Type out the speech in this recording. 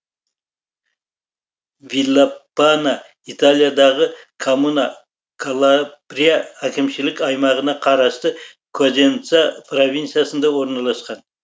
виллапана италиядағы коммуна калабрия әкімшілік аймағына қарасты козенца провинциясында орналасқан